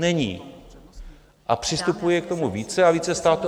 Není a přistupuje k tomu více a více států.